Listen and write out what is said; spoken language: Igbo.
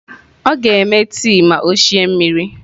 Ọ ga-eme tii ma ọ sie mmiri.